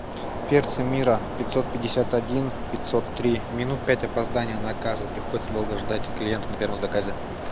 перцы мира пятьсот пятьдесят один пятьсот три минут пять опоздания наказу приходится долго ждать клиент на первом заказе